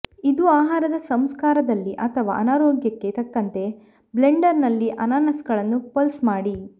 ಇದು ಆಹಾರದ ಸಂಸ್ಕಾರಕದಲ್ಲಿ ಅಥವಾ ಅನಾರೋಗ್ಯಕ್ಕೆ ತಕ್ಕಂತೆ ಬ್ಲೆಂಡರ್ನಲ್ಲಿ ಅನಾನಸ್ಗಳನ್ನು ಪಲ್ಸ್ ಮಾಡಿ